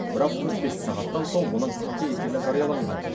бірақ төрт бес сағаттан соң оның қате екені жарияланған